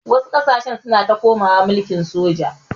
Wasu ƙasashe suna ta komawa mulkin soja.